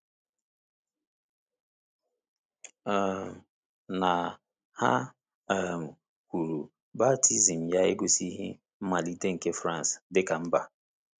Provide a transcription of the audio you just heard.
um Na, ha um kwuru, baptizim ya egosighị mmalite nke France dị ka mba.